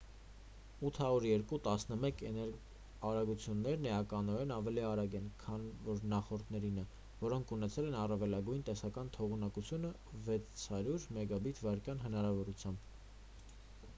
802.11 էն արագություններն էականորեն ավելի արագ են քան իր նախորդներինը որոնք ունեցել են առավելագույն տեսական թողունակություն 600 մբիթ/վ հնարավորությամբ: